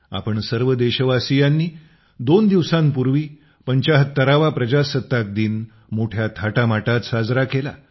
आपण सर्व देशवासीयांनी दोन दिवसांपूर्वी 75वा प्रजासत्ताक दिन मोठ्या थाटामाटात साजरा केला